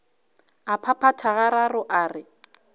a phaphatha gararo a re